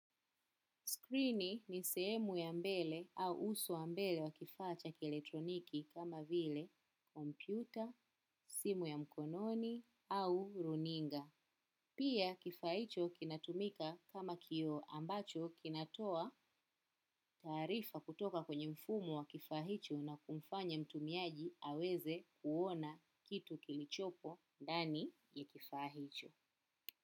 Skrini ni sehemu ya mbele au uso wa mbele wa kifa cha kielektroniki kama vile, kompyuta, simu ya mkononi au runinga. Pia kifaa hicho kinatumika kama kio ambacho kinatoa taarifa kutoka kwenye mfumo wa kifaa hicho na kumfanya mtumiaji aweze kuona kitu kilichopo ndani ya kifaa hicho.